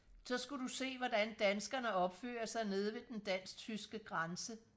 så skulle du se hvordan danskerne opfører sig nede ved den dansk tyske grænse